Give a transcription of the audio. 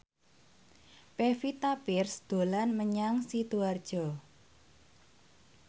Pevita Pearce dolan menyang Sidoarjo